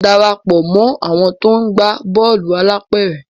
darapọ̀ mọ àwọn to ńgba Bọ́ọ̀lù alápéré!